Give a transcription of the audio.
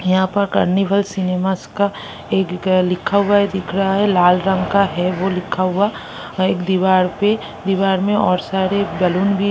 यहाँं पर Carnival Cinemas का एक अ लिखा हुआ है दिख रहा है लाल रंग का है वो लिखा हुआ है एक दीवार पर दीवार में और सारे बैलून भी--